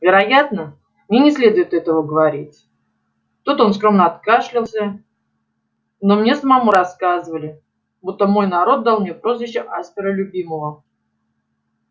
вероятно мне не следует этого говорить тут он скромно откашлялся но мне самому рассказывали будто мой народ дал мне прозвище аспера любимого